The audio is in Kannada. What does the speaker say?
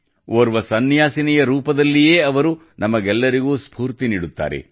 ಓರ್ವ ಸನ್ಯಾಸಿನಿಯ ರೂಪದಲ್ಲಿಯೇ ಅವರು ನಮಗೆಲ್ಲರಿಗೂ ಸ್ಫೂರ್ತಿ ನೀಡುತ್ತಾರೆ